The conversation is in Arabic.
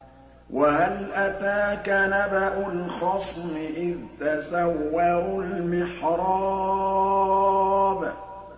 ۞ وَهَلْ أَتَاكَ نَبَأُ الْخَصْمِ إِذْ تَسَوَّرُوا الْمِحْرَابَ